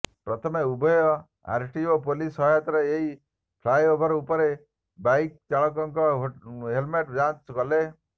ପ୍ରଥମେ ଉଭୟ RTO police ସହାୟତାରେ ଏହି ଫ୍ଲାଏଓଭର ଉପରେ ବାଇକ୍ ଚାଳକଙ୍କ ହେଲ୍ମେଟ୍ ଯାଞ୍ଚ କଲେ